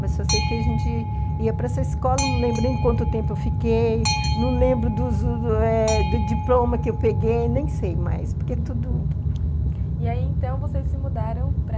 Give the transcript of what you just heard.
Mas só sei que a gente ia para essa escola, não lembro nem quanto tempo eu fiquei, não lembro do diploma que eu peguei, nem sei mais, porque tudo... E aí, então, vocês se mudaram para...